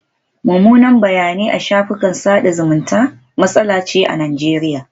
Mummunan bayanai a shafukan sada zumunta matsala ce a Najeriya.